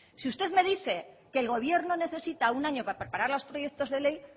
si usted me dice que el gobierno necesita un año para preparar los proyectos de ley